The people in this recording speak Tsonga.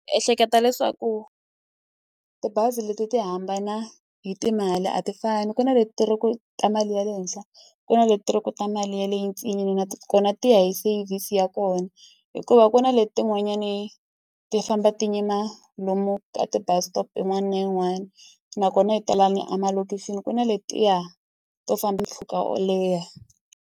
Ehleketa leswaku tibazi leti ti hambana hi timali a ti fani, ku na leti ri ku ta mali ya le henhla ku na leti ri ku ta mali yaleyo ntsinini nakona ti ya hi service ya kona. Hikuva ku na letin'wanyani ti famba ti yima lomu ka ti-bus stop yin'wana na yin'wana, nakona i ta laha ni emalokixini ku na letiya to famba mpfhuka wo leha.